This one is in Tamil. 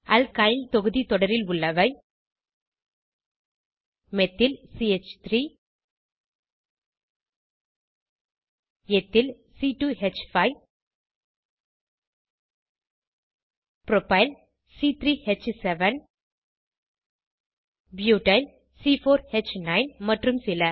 அல்கைல் தொகுதி தொடரில் உள்ளவை மெத்தில் சி3 எத்தில் c2ஹ்5 ப்ரோப்பைல் c3ஹ்7 ப்யூட்டைல் c4ஹ்9 மற்றும் சில